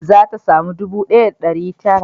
Za ta samu ɗubu ɗaya da ɗari tara